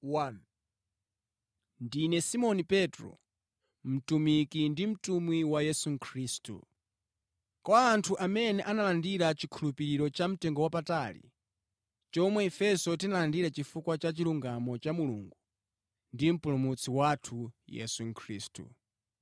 Ndine Simoni Petro, mtumiki ndi mtumwi wa Yesu Khristu. Kwa anthu amene analandira chikhulupiriro cha mtengowapatali chomwe ifenso tinalandira chifukwa cha chilungamo cha Mulungu ndi Mpulumutsi wathu Yesu Khristu.